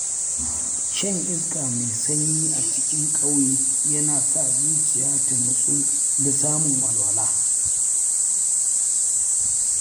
Shan iska mai sanyi a cikin ƙauye yana sa zuciya ta nutsu da samun walwala.